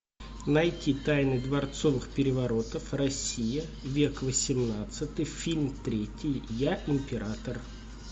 найти тайны дворцовых переворотов россия век восемнадцатый фильм третий я император